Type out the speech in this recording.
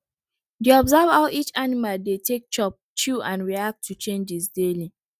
dey observe how each animal dey take chop chew and react to changes daily